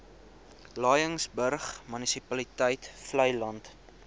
laingsburg munisipaliteit vleiland